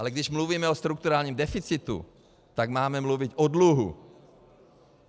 Ale když mluvíme o strukturálním deficitu, tak máme mluvit o dluhu.